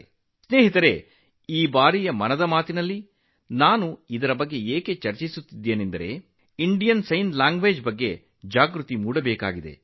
ಸ್ನೇಹಿತರೇ ಭಾರತೀಯ ಸಂಜ್ಞೆ ಭಾಷೆಯ ಬಗ್ಗೆ ಅರಿವು ಹೆಚ್ಚಾಗಲಿ ಎಂದೂ ಸಹ ನಾನು ಮನ್ ಕಿ ಬಾತ್ ನಲ್ಲೂ ಈ ಬಗ್ಗೆ ಚರ್ಚಿಸುತ್ತಿದ್ದೇನೆ